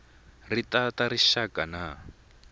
ti ta ta rixaka na